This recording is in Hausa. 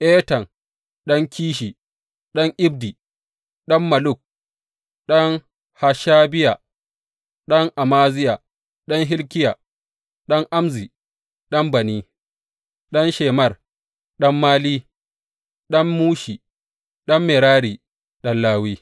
Etan ɗan Kishi, ɗan Abdi, ɗan Malluk, ɗan Hashabiya, ɗan Amaziya, ɗan Hilkiya, ɗan Amzi, ɗan Bani, ɗan Shemer, ɗan Mali, ɗan Mushi, ɗan Merari, ɗan Lawi.